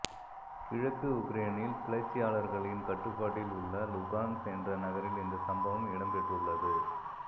கிழக்கு உக்ரேனில் கிளர்ச்சியாளர்களின் கட்டுப்பாட்டில் உள்ள லுகான்ஸ் என்ற நகரில் இந்த சம்பவம் இடம்பெற்றுள்ளது